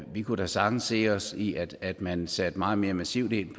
vi kunne da sagtens se os i at at man satte meget mere massivt ind